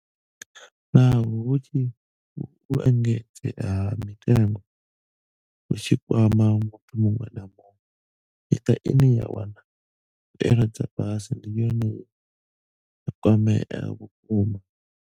Naho uhu u engedzea ha mitengo hu tshi kwama muthu muṅwe na muṅwe, miṱa ine ya wana mbuelo dza fhasi ndi yone ye ya kwamea vhukuma.